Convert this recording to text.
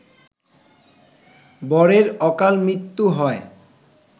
বরের অকালমৃত্যু হয়